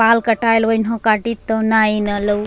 बाल कटाएल वेन्हो काटी तो नाय इना लो --